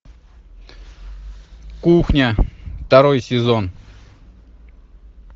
кухня второй сезон